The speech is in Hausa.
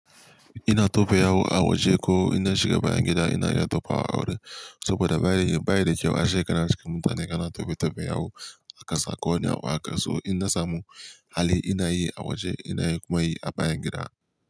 Ina tope yawu a waje ko ina shiga bayan gida ina ya tofawa a wurin. Saboda ba daidai ba da kyau a shekara cikin mutane kana tofe tofe yawu a kasa ko ne a ƙasa ko ina samu hali ina yi a waje ina kuma yi a bayan gida.